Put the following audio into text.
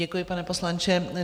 Děkuji, pane poslanče.